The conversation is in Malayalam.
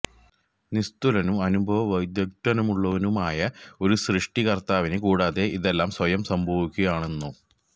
നിസ്തുലനും അനുപമ വൈദഗ്ധ്യമുള്ളവനുമായ ഒരു സൃഷ്ടി കര്ത്താവിനെ കൂടാതെ ഇതെല്ലാം സ്വയം സംഭവിക്കുകയാണെന്നോ